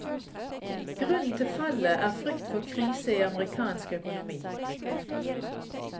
Grunnen til fallet er frykt for krise i amerikansk økonomi.